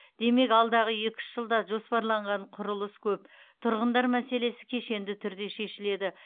демек алдағы екі үш жылда жоспарланған құрылыс көп тұрғындар мәселесі кешенді түрде шешіледі